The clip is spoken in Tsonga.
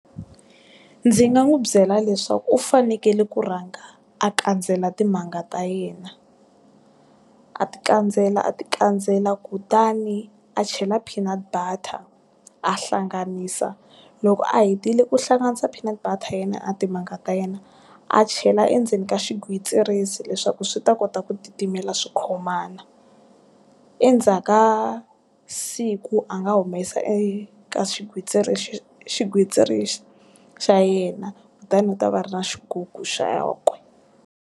Ndzi nga n'wi byela leswaku u fanekele ku rhanga a kandzela timanga ta yena. A ti kandzela a ti kandzela kutani a chela peanut butter, a hlanganisa. Loko a hetile ku hlanganisa peanut butter ya yena na timanga ta yena, a chela endzeni ka xigwitsirisi leswaku swi ta kota ku titimela swi khomana. Endzhaku ka siku a nga humesa eka xigwitsirisi xigwitsirisi xa yena, kutani u ta va a ri na xigugu xa kwe.